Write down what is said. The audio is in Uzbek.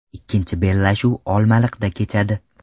Ikkinchi bellashuv Olmaliqda kechadi.